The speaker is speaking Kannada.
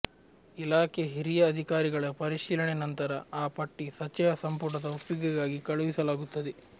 ಇಲಾಖೆ ಹಿರಿಯ ಅಧಿಕಾರಿಗಳ ಪರಿಶೀಲನೆ ನಂತರ ಆ ಪಟ್ಟಿ ಸಚಿವ ಸಂಪುಟದ ಒಪ್ಪಿಗೆಗಾಗಿ ಕಳುಹಿಲಾಗುತ್ತದೆ